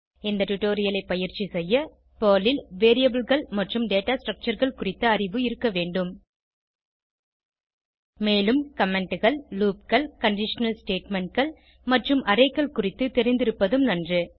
இந்த டுடோரியலை பயிற்சி செய்ய பெர்ல் ல் Variableகள் மற்றும் டேட்டா Structureகள் குறித்த அறிவு இருக்க வேண்டும் மேலும் commentகள் loopகள் கண்டிஷனல் statementகள் மற்றும் Arrayகள் குறித்து தெரிந்திருப்பதும் நன்று